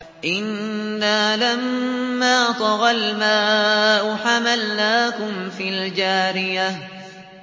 إِنَّا لَمَّا طَغَى الْمَاءُ حَمَلْنَاكُمْ فِي الْجَارِيَةِ